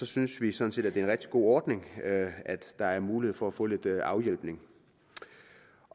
synes vi sådan set at det er en rigtig god ordning at at der er mulighed for at få lidt afhjælpning